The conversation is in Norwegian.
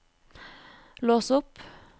lås opp